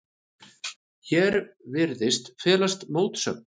Hér virðist felast mótsögn.